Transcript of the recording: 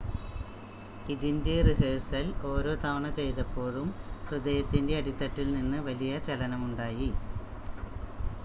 """ഇതിന്‍റെ റിഹേഴ്സല്‍ ഓരോ തവണ ചെയ്തപ്പോഴും ഹൃദയത്തിന്‍റെ അടിത്തട്ടില്‍നിന്ന് വലിയ ചലനമുണ്ടായി."